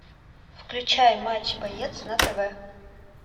включай матч боец на тв